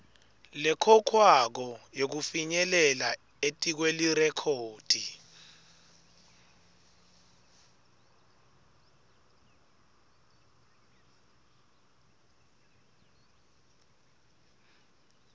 lekhokhwako yekufinyelela etikwelirekhodi